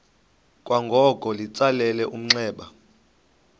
kwangoko litsalele umnxeba